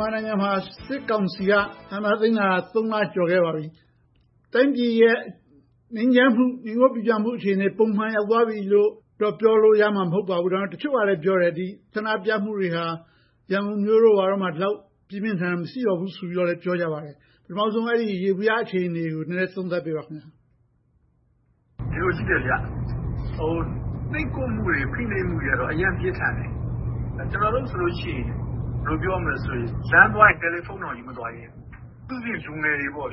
မာနိုင်ငံမှာ စစ်ကောင်စီက အာဏာသိမ်းလာတာ လ ကျော်လာခဲ့ပါပြီ။ တိုင်းပြည်ရဲ့ ငြိမ်းချမ်းမှု၊ ငြိမ်ဝပ်ပိပြားမှု အခြေအနေက ပုံမှန်ရောက်သွားပြီလို့ ပြောလို့မရပါဘူး။ ဒါပေမဲ့ တချို့ကလဲပြောတယ် ဆန္ဒပြမှုတွေဟာ ရန်ကုန်မြို့တို့မှာ ဒီလောက်ပြင်းပြင်းထန်ထန် မရှိတော့ဘူးလို့ ပြောနေကြပါတယ်။ ပထမဦးဆုံး ယေဘုယျအခြေအနေကို သုံးသပ်ပေးပါ။ ဖြေ ။ ။ ဒီလိုရှိတယ် နှိပ်ကွပ်မှုတွေ၊ ဖိနှိပ်မှုတွေကတော့ အရမ်းပြင်းထန်တယ်။ ကျနော်တို့ဆိုရင် လမ်းသွားရင်တောင် တယ်လီဖုန်းတောင် ယူမသွားရဲဘူး။ အထူးသဖြင့် လူငယ်တွေ။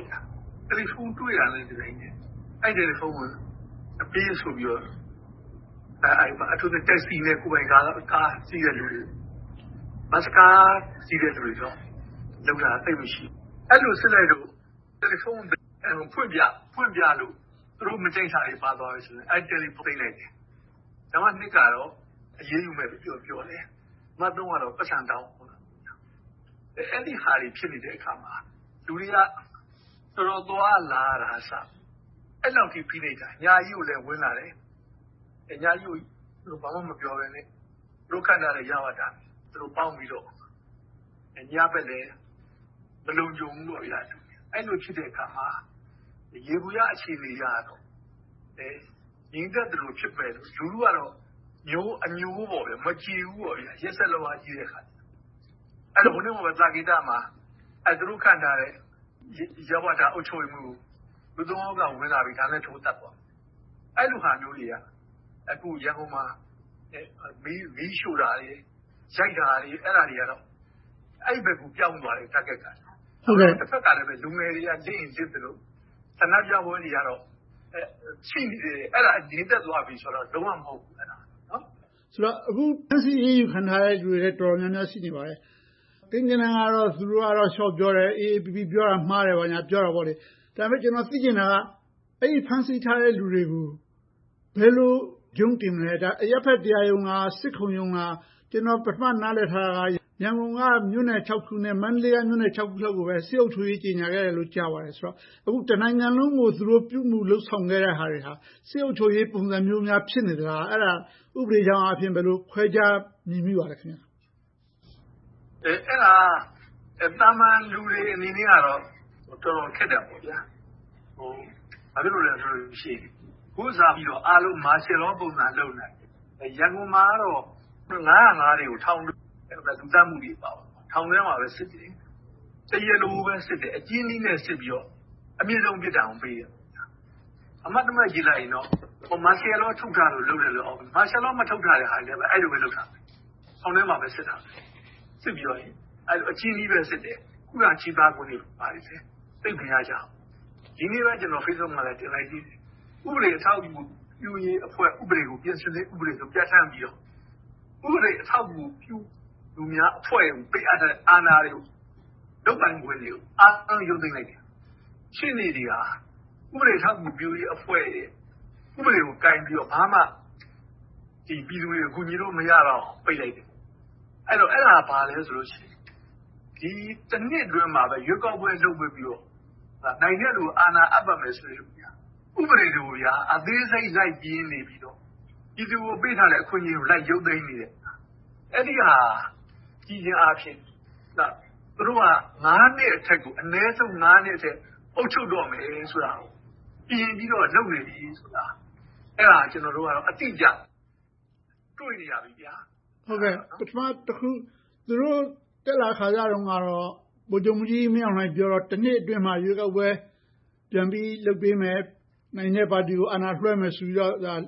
တယ်လီဖုန်း တွေ့တာနဲ့ အဲဒီတယ်လီဖုန်းကို ပေးဆိုပြီးတော့ - အထူးသဖြင့် taxi နဲ့ ကိုယ်ပိုင်ကားစီးတဲ့လူတွေ၊ ဘတ်စ်ကားစီးတဲ့ လူတွေကိုတော့ လုပ်တာသိပ်မရှိဘူး။ အဲဒီလိုစစ်လိုက်လို့ တယ်လီဖုန်း ဖွင့်ပြလို့ သူတို့မကြိုက်တာတွေ ပါသွားရင် အဲဒီတယ်လီဖုန်းကို သိမ်းလိုက်တယ်။ နံပတ်နှစ်ကတော့ အရေးယူမယ်ပြောတယ်။ နံပတ်သုံးကတော့ ပိုက်ဆံတောင်းတယ်။ အဲဒီဟာတွေ ဖြစ်နေတဲ့အခါမှာ လူတွေက တော်တော်သွားရလာရတာကအစ အဲဒီလောက်ကို ဖိနှိပ်တာ။ ညပိုင်းဆိုလဲ ဘာမှမပြောဘဲနဲ့ ဝင်လာတယ်။ သူတို့ခန့်ထားတဲ့ ရဝတနဲ့ ဝင်လာတယ်။ ညဘက်လဲ မလုံခြုံဘူး။ အဲဒီလို ဖြစ်တဲ့အခါမှာ ယေဘုယျအခြေအနေအရ ငြိမ်သက်သလို ရှိပေမယ့် လူထုကတော့ မကျေဘူးပေါ့။ ရက်စက်လွန်အားကြီးတော့။ တနေ့ကပဲ သာကေတမှာ သူတို့ခန့်ထားတဲ့ ရဝတအုပ်ချုပ်ရေးမှူးကို လူ ယောက်က ဝင်လာပြီး ဓါးနဲ့ထိုးသတ်သွားတယ်။ အဲဒီလိုဟာမျိုးတွေက ရန်ကုန်မှာ မီးရှို့တာတွေ၊ ရိုက်တာတွေ အဲဒီလိုတွေ target က ပြောင်းသွားပြီ။ တဘက်မှာလဲ လူငယ်တွေက လစ်ရင်လစ်သလို ဆန္ဒပြပွဲတွေကတော့ ရှိနေတယ်။ ငြိမ်သက်သွားပြီဆိုတာတော့ လုံးဝမဟုတ်ဘူး။ မေး ။ ။ အခုဖမ်းဆီးအရေးယူခံထားရတဲ့ လူတွေလည်း တော်တော်များများ ရှိနေပါတယ်။ ကိန်းဂဏန်းကတော့ သူတို့က လျှော့ပြောတယ်။ AAPP က ပြောတာ မှားတယ်ပေါ့။ ဒါပေမဲ့ ကျနော်သိချင်တာက ဖမ်းဆီးခံထားရလူတွေကို ဘယ်လိုရုံးတင်မလဲ။ အရပ်ဘက်တရားရုံးလား။ စစ်ခုံရုံးလား။ ကျနော် ပထမနားလည်ထားတာက ရန်ကုန်က မြို့နယ် ခုနဲ့ မန္တလေးက မြို့နယ် ခုကိုပဲ စစ်အုပ်ချုပ်ရေး ကြေညာခဲ့တယ်လို့ ကြားပါတယ်။ အခု တနိုင်ငံလုံးကို သူတို့ပြုမှုလုပ်ဆောင်နေတာက စစ်အုပ်ချုပ်ရေးပုံစံမျိုးများ ဖြစ်နေမလား။ အဲဒါကို ဥပဒေကြောင်းအရ ခွဲခြားမြင်မိပါသလဲ။ ဖြေ ။ ။ အဲဒါက သာမန်လူတွေအနေနဲ့တော့ တော်တော်ခက်တယ်။ ဘာဖြစ်လို့လဲဆိုတော့ အခုက အားလုံးကို စစ်အုပ်ချုပ်ရေးပုံစံ လုပ်နေတာ။ ရန်ကုန်မှာတော့ ၅၀၅ တွေနဲ့ လူသတ်မှုတွေကို ထောင်ထဲမှာပဲစစ်တယ်။ တရားလိုကိုပဲ အကျဉ်းနည်းနဲ့ စစ်ပြီးတော့ အပြစ်ဒဏ်ပေးတယ်။ အမှတ်တမဲ့ကြည့်လိုက်ရင်တော့ စစ်အုပ်ချုပ်ရေး ထုတ်ထားလို့။ ဒါပေမဲ့ မာရှယ်လော စစ်အုပ်ချုပ် မထုတ်ထားတဲ့ဟာတွေလဲ အဲဒီလိုပဲ လုပ်တာပဲ။ ထောင်ထဲမှာပဲ အကျဉ်းနည်းနဲ့စစ်တယ် ခုခံချေပခွင့်တွေလည်း သိပ်မရကြဘူး။ ဒီနေ့ပဲ Facebook မှာ တင်လိုက်ပြီးပြီ ဥပဒေအထောက်အကူပြုရေးအဖွဲ့ ဥပဒေကို ပြင်ဆင်မှုပြဌာန်းပြီးတော့ ဥပဒေအထောက်အကူ ပြုသူများအဖွဲ့ကို ပေးအပ်ထားတဲ့ အာဏာတွေကို၊ လုပ်ပိုင်ခွင့်တွေကို အားလုံးရုတ်သိမ်းလိုက်တယ်။ ရှေ့နေတွေဟာ ဥပဒေအထောက်အကူပြုရေးအဖွဲ့ရဲ့ ဥပဒေကိုကိုင်ပြီးတော့ ဘာမှပြည်သူတွေကို ကူညီလို့မရလောက်အောင် ပိတ်လိုက်တယ်။ အဲဒါက ဘာလဲဆိုတော့ ဒီ နှစ်အတွင်းမှာပဲ ရွေးကောက်ပွဲ လုပ်ပေးပြီးတော့ နိုင်တဲ့လူကို အာဏာအပ်ပါမယ်ဆိုတဲ့ ဥပဒေဟာ ဥပဒေတွေကို အသေးစိတ် လိုက်ပြင်နေပြီးတော့ ပြည်သူကို ပေးထားတဲ့ အခွင့်အရေးတွေကို လိုက်ရုတ်သိမ်းနေတယ်။ အဲဒါကို ကြည့်ခြင်းအားဖြင့် သူတို့က နှစ်အထက်ကို အနည်းဆုံး နှစ်အထက် အုပ်ချုပ်တော့မယ်ဆိုတာကို ပြင်ပြီးတော့ လုပ်နေပြီဆိုတာကို အဲဒါကို ကျနော်တို့က အတိအကျ တွေ့နေရပြီ။ မေး ။ ။ ပထမတခုက သူတို့တက်လာခါစတုန်းကတော့ ဗိုလ်ချုပ်မှူးကြီးမင်းအောင်လှိုင် ပြောတာက နှစ်အတွင်းမှာ ရွေးကောက်ပွဲ ပြန်ပြီး လုပ်ပေးမယ်။ နိုင်တဲ့ပါတီကို အာဏာလွှဲမယ်ဆိုပြီးတော့ လမ်း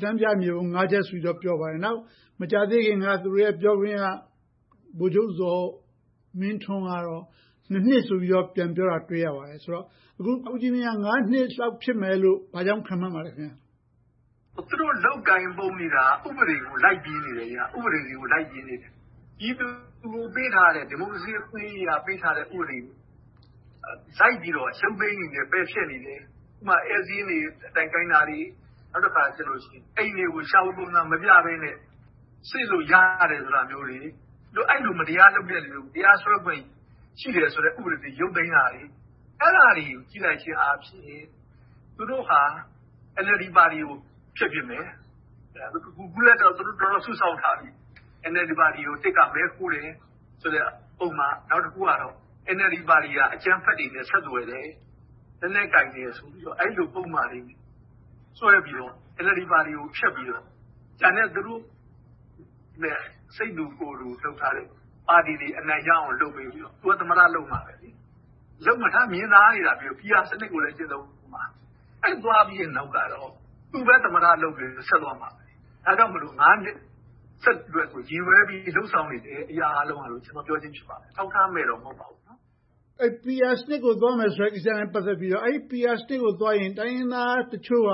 ပြမြေပုံ ချက်ဆိုပြီးတော့ ပြောပါတယ်။ နောက်မကြာသေးခင်က သူတို့ရဲ့ ပြောခွင့်ရ ဗိုလ်ချုပ်ဇော်မင်းထွန်းကတော့ နှစ်ဆိုပြီးတော့ ပြန်ပြောတာ တွေ့ရပါတယ်ဆိုတော့ အခု ဦးကြီးမြင့်က နှစ်လောက် ဖြစ်မယ်လို့ ဘာကြောင့် ခန့်မှန်းပါလဲ။ ဖြေ ။ ။ သူတို့လုပ်ကိုင်နေတာက ဥပဒေကို လိုက်ပြီးပြင်နေတယ်။ ပြည်သူကို ပေးထားတဲ့ ဒီမိုကရေစီ အခွင့်အရေး ဥပဒေတွေကို လိုက်ပြီးတော့ ရုတ်သိမ်းနေတယ်၊ ပယ်ဖျက်နေတယ်။ ဥပမာ ဧည့်စာရင်းတွေ တိုင်ခိုင်းတာတွေ၊ အိမ်တွေကို ရှာဖွေပုံစံမပြဘဲနဲ့ စစ်လို့ရတယ့်ဟာမျိုးတွေ၊ အဲဒီလို မတရားလုပ်တာကို တရားစွဲခွင့် ရှိတယ်ဆိုတဲ့ ဥပဒေကို ရုတ်သိမ်းတာတွေ။ အဲဒါတွေကို ကြည့်လိုက်ခြင်းအားဖြင့် သူတို့ဟာ NLD ပါတီကို ဖျက်ပစ်မယ်။ အခုလဲ သူတို့တော်တော်လေး စုဆောင်းထားပြီ။ NLD ပါတီကို တစ်က မဲခိုးတယ်ဆိုတဲ့ ပုဒ်မ။ နောက်တခုက NLD ပါတီက အကြမ်းဖက်တွေနဲ့ ဆက်သွယ်တယ်၊ လက်နက်ကိုင်တယ်ဆိုပြီးတော့ အဲဒီလိုပုဒ်မတွေ ဆွဲပြီးတော့ NLD ပါတီကို ဖျက်ပြီးတော့ ကျန်တဲ့ သူတို့နဲ့ စိတ်တူကိုယ်တူ လုပ်ထားတဲ့ပါတီတွေ အနိုင်ရအောင် လုပ်ပြီးတော့ သူက သမ္မတ လုပ်မှာပဲ။ မြင်သာနေတာပဲ PR စနစ်ကိုလည်း ကျင့်သုံးအုံးမှာ။ အဲဒီလိုသွားပြီးနောက်က သူပဲ သမ္မတလုပ်ပြီးတော့ ဆက်သွားအုံးမှာ။ ဒါကြောင့်မို့ နှစ်ကို ရည်ရွယ်ပြီး လုပ်ဆောင်နေတယ်လို့ ပြောချင်ဖြစ်ပါတယ်။ အထောက်အထားနဲ့တော့ မဟုတ်ပါဘူး။ မေး ။ ။ PR စနစ်ကို သွားမယ်ဆိုတာနဲ့ ပတ်သက်ပြီးတော့ အဲဒီ PR စနစ်ကိုသွားရင် တိုင်းရင်းသားတချို့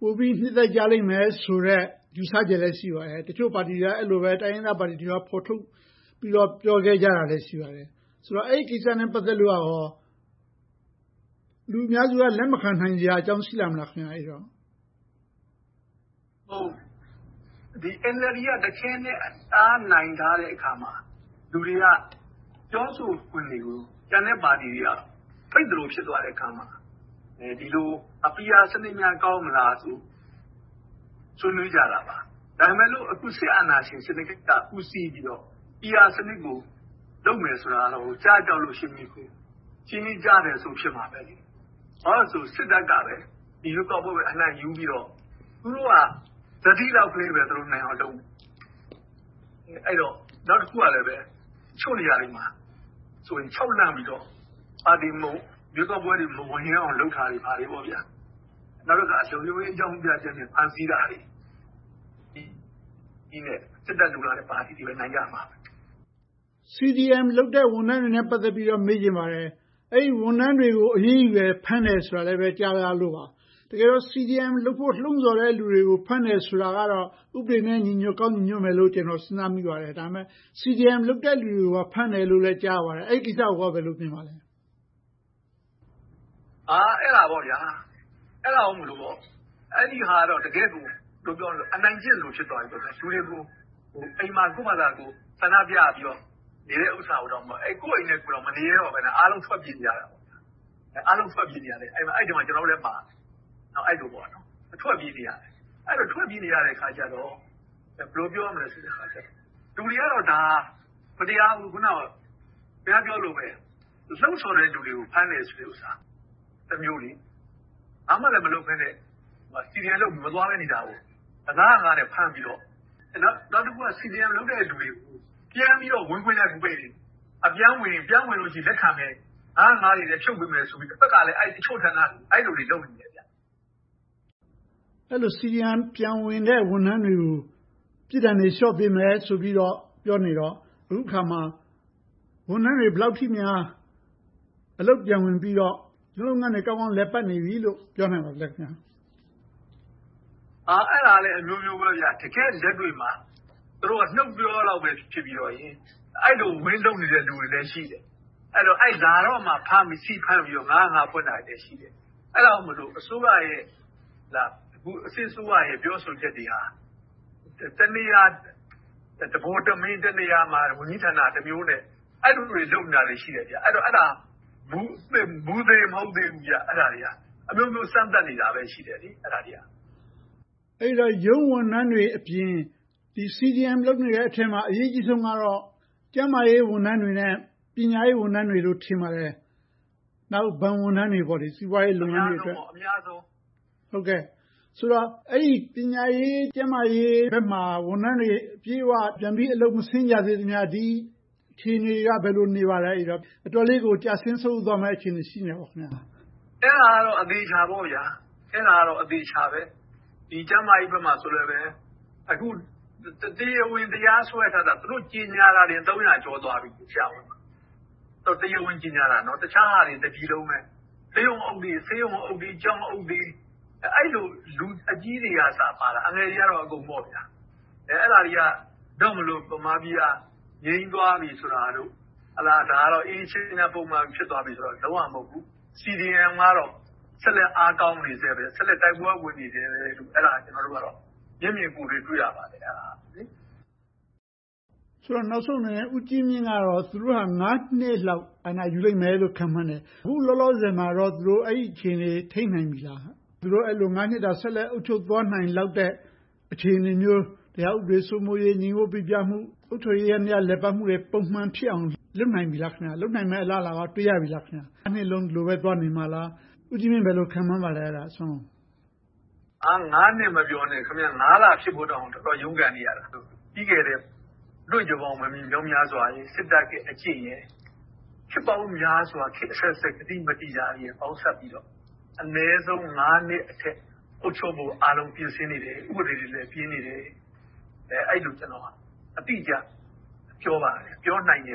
က ပိုပြီးနှစ်သက်ကြလိမ့်မယ်ဆိုတဲ့ ယူဆချက်လည်း ရှိပါတယ်။ တချို့ပါတီတွေ၊ တိုင်းရင်းသားပါတီတွေက ဖော်ထုတ်ပြီးတော့ ပြောခဲ့ကြတာလဲ ရှိပါတယ်။ ဆိုတော့ အဲဒီကိစ္စနဲ့ ပတ်သက်လို့ လူအများစုက လက်မခံနိုင်စရာအကြောင်း ရှိလာမလား။ ဖြေ ။ ။ NLD က တခဲနက် တအားနိုင်ထားတဲ့အခါမှာ လူတွေက ပြောဆိုခွင့်တွေကို ကျန်တဲ့ပါတီတွေက ပိတ်သလို ဖြစ်သွားတဲ့အခါမှာ ဒီလို PR စနစ်များ ကောင်းမလားဆိုပြီး ဆွေးနွေးကြတာပါ။ ဒါပေမဲ့ အခုစစ်အာဏာရှင်စနစ်က ဦးစီးပြီးတော့ PR စနစ်ကို လုပ်မယ်ဆိုတာကတော့ ကျားကြောက်လို့ ရှင်ကြီးကိုး ရှင်ကြီး ကျားထက်ဆိုး ဖြစ်မှာပဲ။ ဘာဖြစ်လို့လဲဆိုတော့ စစ်တပ်ကပဲ ဒီရွေးကောက်ပွဲကို အနိုင်ယူပြီးတော့ သူတို့က အုပ်ချုပ်မှာ။ နောက်တခုက တချို့နေရာတွေမှာဆိုရင် ခြောက်လန့်ပြီးတော့ ရွေးကောက်ပွဲတွေ မဝင်ရဲအောင် လုပ်တာတွေ။ နောက်တခါ လုံခြုံရေး အကြောင်းပြချက်နဲ့ ဖမ်းဆီးတာတွေ။ စစ်တပ်လိုလားတဲ့ ပါတီတွေပဲ နိုင်ကြမှာပဲ။ မေး ။ ။ CDM လုပ်ကြတဲ့ ဝန်ထမ်းတွေနဲ့ ပတ်သက်ပြီးတော့ မေးချင်ပါတယ်။ အဲဒီဝန်ထမ်းတွေကို အရေးယူတယ်၊ ဖမ်းတယ်ဆိုတာလဲ ကြားမိပါတယ်။ တကယ်တော့ CDM လုပ်ဖို့ လှုံဆော်တဲ့ လူတွေကို ဖမ်းတယ်ဆိုတာကတော့ ဥပဒေနဲ့ ညီညွှတ်ကောင်း ညီညွှတ်မယ်လို့ ကျနော် စဉ်းစားမိပါတယ်။ ဒါပေမဲ့ CDM လုပ်တယ်လူတွေကို ဖမ်းတယ်လို့လည်း ကြားရပါတယ်။ အဲဒီကိစ္စကို ဘယ်လိုမြင်ပါသလဲ။ ဖြေ ။ ။ အဲဒါကတော့ တကယ့်ကို အနိုင်ကျင့်သလို ဖြစ်သွားပြီ။ လူတွေကို ကိုယ့်ဘာသာကိုယ် ဆန္ဒပြပြီးတော့ နေတာဟာကို ကိုယ့်အိမ်ထဲကိုယ် မနေရဲတော့ဘဲ၊ အားလုံးထွက်ပြေးနေရတယ်။ အဲဒီအထဲမှာ ကျနော်တို့လည်းပါတယ်။ ထွက်ပြေးနေရတဲ့အခါကြတော့ လူတွေကတော့ ဒါက မတရားဘူး၊ ခင်များပြောသလိုပဲ လှုံဆော်တဲ့လူတွေကို ဖမ်းဆီးတယ်ဆိုတာ တမျိုးလေ။ ဘာမှလဲ မလုပ်ဘဲနဲ့ CDM လုပ်ပြီးတော့ မသွားဘဲနေတာကို ၅၀၅ နဲ့ ဖမ်းပြီးတော့။ နောက်တခုက CDM လုပ်တဲ့လူတွေကို ပြန်ဝင်လို့ရှိရင် လက်ခံမယ်၊ ၅၀၅ တွေလည်း ဖြုတ်ပေးမယ်ဆိုပြီးတော့ တဘက်ကလဲ တချို့ဌာနတွေက အဲဒီလိုတွေ လုပ်နေတယ်။ မေး ။ ။ အဲဒီလို CDM လုပ်ပြီး ပြန်ဝင်တဲ့ ဝန်ထမ်းတွေကို ပြစ်ဒဏ်တွေ လျှော့ပေးမယ်ဆိုပြီးတော့ ပြောနေတော့၊ အခုအခါမှာ ဝန်ထမ်းတွေ ဘယ်လောက်အထိများ အလုပ်ပြန်ဝင်ပြီးတော့ သူတို့လုပ်ငန်းတွေ ကောင်းကောင်းလည်ပတ်နေပြီလို့ ပြောနိုင်ပါသလဲ။ ဖြေ ။ ။ အဲဒါကလဲ အမျိုးမျိုးပဲ။ တကယ့်လက်တွေ့မှာ သူတို့က နှုတ်ပြောလောက်ပဲ ဖြစ်ပြီးတော့၊ အဲဒီလို ဝင်လုပ်နေတဲ့ လူတွေလည်း ရှိတယ်။ လာတော့မှ ဆီဖမ်းပြီးတော့ ၅၀၅ ဖွင့်တာတွေလည်း ရှိတယ်။ အဲဒါကြောင့် အခု စစ်အစိုးရရဲ့ ပြောဆိုချက်တွေက တနေရာ တဗိုလ်တမင်း၊ တနေရာမှာ ဝန်ကြီးဌာနက တမျိုးနဲ့ အဲဒီလိုတွေ လုပ်နေတာတွေ ရှိတယ်။ အဲဒါက မူသေမဟုတ်သေးဘူး။ အမျိုးမျိုး စမ်းသပ်နေတာပဲ ရှိတယ်။ မေး ။ ။ အဲဒီတော့ ရုံးဝန်ထမ်းတွေအပြင် CDM လုပ်နေတဲ့အထဲမှာ အရေးကြီးဆုံးကတော့ ကျန်းမာရေးဝန်ထမ်းတွေနဲ့ ပညာရေးဝန်ထမ်းတွေလို့ ထင်ပါတယ်။ နောက် ဘဏ်ဝန်ထမ်းတွေ။ စီးပွားရေးလုပ်ငန်းတွေအတွက်။ အဲဒီ ပညာရေး၊ ကျန်းမာရေးဘက်မှာ ဝန်ထမ်းတွေ အပြည့်အဝ အလုပ်ပြန်မဆင်းကြသေးသမျှ ဒီအခြေအနေက ဘယ်လိုနေပါသလဲ။ အတော်လေးကို ကျဆင်းဆုတ်ယုတ်သွားမယ့် အခြေအနေ ရှိလား။ ဖြေ ။ ။ အဲဒါကတော့ အသေအချာပေါ့။ ကျန်းမာရေးဘက်မှာဆိုလဲ အခု တရားဝင် တရားစွဲထားတာ သူတို့ကြေညာတာပင် ဆရာဝန် သုံးရာကျော်သွားပြီ။ တရားဝင်ကြေညာတာ၊ တခြားဟာတွေက တပြည်လုံးပဲ။ ဆေးရုံးအုပ်တွေ၊ ကျောင်းအုပ်တွေ၊ အဲဒီလို လူအကြီးတွေကအစပါတာ။ အငယ်တွေကတော့ အကုန်ပေါ့။ အဲဒါတွေကြောင့်မို့ ဗမာပြည်က ငြိမ်သွားပြီဆိုတာတို့၊ ဒါကတော့ အေးချမ်းပုံမှန် ဖြစ်သွားပြီဆိုတာ လုံးဝမဟုတ်ဘူး။ CDM ကတော့ ဆက်လက်အားကောင်းနေဆဲပဲ။ ဆက်လက်တိုက်ပွဲဝင်နေဆဲလို့ ကျနော်တို့ကတော့ မျက်မြင်ကိုယ်တွေ့ တွေ့ရပါတယ်။ မေး ။ ။ နောက်ဆုံးအနေနဲ့ ဦးကြီးမြင့်ကတော့ သူတို့က နှစ်လောက် အာဏာယူလိမ့်မယ်လို့ ခန့်မှန်းတယ်။ အခုလောလောဆယ်မှာ အဲဒီအခြေအနေကို ထိန်းနိုင်ပြီလား။ သူတို့မှာ နှစ်တာ ဆက်လက်အုပ်ချုပ်သွားနိုင်တဲ့ အခြေအနေမျိုး၊ တရားဥပဒေ စိုးမိုးရေး၊ ငြိမ်ဝပ်ပိပြားမှု၊ အုပ်ချုပ်ရေးယန္တရားတွေ ပုံမှန်လည်ပတ်အောင် လုပ်နိုင်ပြီလား။ လုပ်နိုင်မယ့် အလားအလာကော တွေ့ရပြီလား။ နှစ်လုံး ဒီလိုပဲ သွားနေမလား။ ဦးကြီးမြင့် ဘယ်လိုခန့်မှန်းပါလဲ။ ဖြေ ။ ။ နှစ်မပြောနဲ့ လ ဖြစ်ဖို့တောင် တော်တော်ရုန်းကန်နေရတယ်။ ပြီးခဲ့တဲ့ အတွေ့အကြုံပေါင်း မြောက်မြားစွာရယ်၊ စစ်တပ်ရဲ့အကျင့်ရယ်။ ခေတ်ပေါင်းများစွာ ခေတ်အဆက်ဆက် ကတိမတည်တာတွေကို ပေါင်းစပ်ပြီးတော့ အနည်းဆုံး နှစ်အထက် အုပ်ချုပ်ဖို့ ပြင်ဆင်နေတယ်။ ဥပဒေတွေလည်း ပြင်နေတယ်။ အဲဒီလို အတိအကျ ပြောပါတယ်။ ပြောနိုင်တယ်